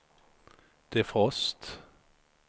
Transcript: defrost